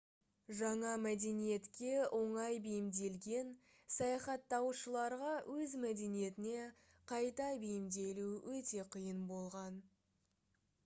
жаңа мәдениетке оңай бейімделген саяхаттаушыларға өз мәдениетіне қайта бейімделу өте қиын болған